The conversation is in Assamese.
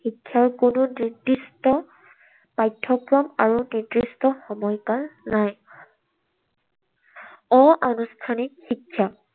শিক্ষাৰ কোনো নিৰ্দিষ্ট পাঠ্যক্ৰম আৰু কোনো নিৰ্দিষ্ট সময়কাল নাই। অনানুষ্ঠানিক শিক্ষা।